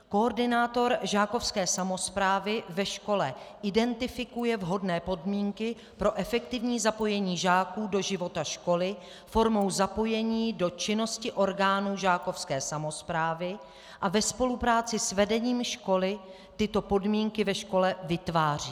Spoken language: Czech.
Koordinátor žákovské samosprávy ve škole identifikuje vhodné podmínky pro efektivní zapojení žáků do života školy formou zapojení do činnosti orgánů žákovské samosprávy a ve spolupráci s vedením školy tyto podmínky ve škole vytváří.